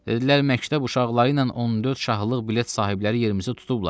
Dedilər: Məktəb uşaqları ilə 14 şahlıq bilet sahibləri yerimizi tutublar.